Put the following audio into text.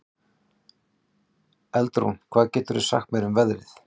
Eldrún, hvað geturðu sagt mér um veðrið?